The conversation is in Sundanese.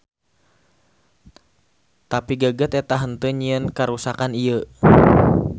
Tapi geget eta henteu nyieun karuksakan ieu.